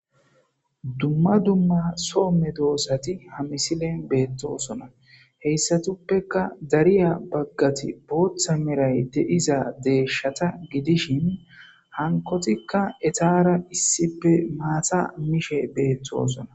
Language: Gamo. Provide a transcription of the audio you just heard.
dumma dumma soomme doossati ha misilen beettosona heyssatuppeka dariya baggati booththa meray deiza deeshshata gidishin hankotikka etaara issipe maata mishe beettosona